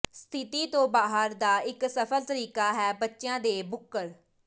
ਸਥਿਤੀ ਤੋਂ ਬਾਹਰ ਦਾ ਇੱਕ ਸਫਲ ਤਰੀਕਾ ਹੈ ਬੱਚਿਆਂ ਦੇ ਬੁੱਕਰ